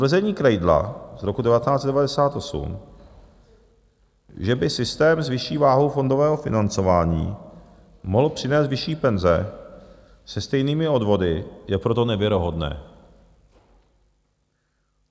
Tvrzení Kreidla z roku 1998, že by systém s vyšší váhou fondového financování mohl přinést vyšší penze se stejnými odvody, je proto nevěrohodné.